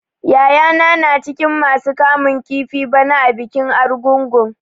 Yayana na cikin masu kamun kifi bana a bikin Argungun.